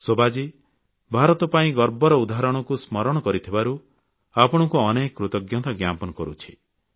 ଶୋଭାଜୀ ଭାରତ ପାଇଁ ଗର୍ବର ଉଦାହରଣକୁ ସ୍ମରଣ କରିଥିବାରୁ ଆପଣଙ୍କୁ ଅନେକ କୃତଜ୍ଞତା ଜ୍ଞାପନ କରୁଛି